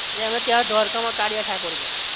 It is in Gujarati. ને હવે ત્યાં દ્વારકા માં કાળીયા ઠાકોર છે